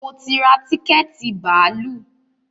Mo ti ra tíkẹ̀tì bàálù